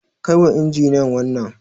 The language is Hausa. Kai wa injiniyan wannan.